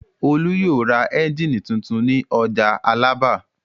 Olú yóò ra ẹ́ńjínì tuntun ní ọjà Alábà.